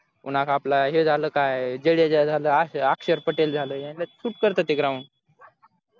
पण आता आपला हे झालं काय जडेजा झाला अक्षर पटेल झालं यांना suit करत ते ground तर